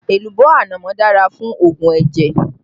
Èlùbọ́ ànámọ́ dára fún òògùn ẹ̀jẹ̀